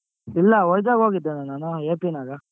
ಇಲ್ಲ ವೈಝಗ್ ಹೋಗಿದ್ದೆ ಅಣ್ಣ ನಾನು AP ನಾಗ.